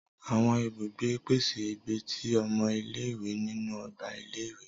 Awọn ibùgbé pèsè ìbí tí ọmọ ile-iwe nínú ọgbà ilé-ìwé.